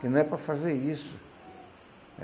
Que não é para fazer isso.